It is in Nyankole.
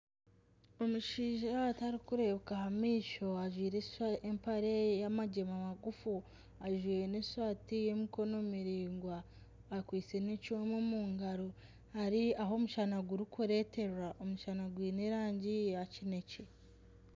Omushaija atarikureebeka aha maisho ajwaire empare yamagyema magufu ajwaire n'esaati y'emikono miraingwa akwaitse n'ekyooma omu ngaro eri ahu omushana gurikureterwa, omushana gwiine rangi ya kinekye.